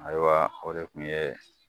Ayiwa o de kun ye